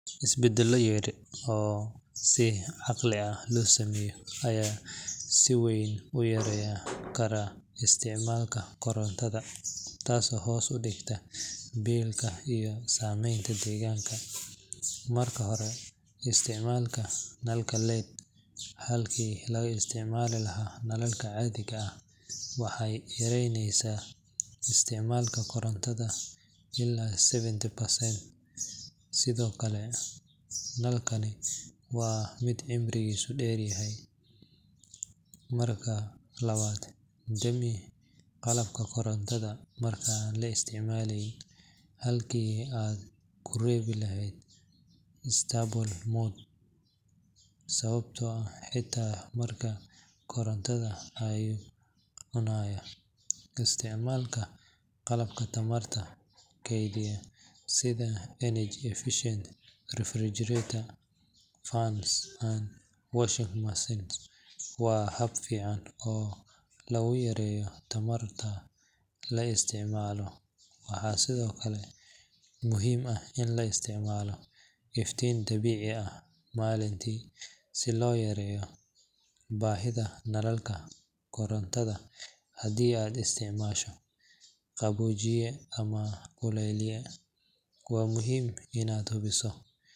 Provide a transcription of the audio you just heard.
Isbeddelo yar oo si caqli ah loo sameeyo ayaa si weyn u yareyn kara isticmaalka korontada, taasoo hoos u dhigta biilka iyo saameynta deegaanka. Marka hore, isticmaalka nalalka LED halkii laga isticmaali lahaa nalalka caadiga ah waxay yareynayaan isticmaalka korontada ilaa seventy percent, sidoo kale nalkani waa mid cimrigiisu dheeryahay. Marka labaad, dami qalabka korontada marka aan la isticmaaleyn halkii aad ku reebi lahayd standby mode sababtoo ah xitaa markaas koronto ayuu cunayaa. Isticmaalka qalabka tamarta keydiya sida energy-efficient refrigerators, fans, and washing machines waa hab fiican oo lagu yareeyo tamarta la isticmaalo. Waxaa sidoo kale muhiim ah in la isticmaalo iftiin dabiici ah maalintii si loo yareeyo baahida nalalka korontada. Haddii aad isticmaasho qaboojiye ama kululeeye, waa muhiim inaad hubiso.